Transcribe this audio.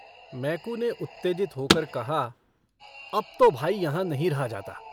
मैकू ने उत्तेजित होकर कहा अब तो भाई यहाँ नहीं रहा जाता।